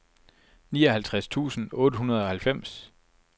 nioghalvtreds tusind otte hundrede og halvfems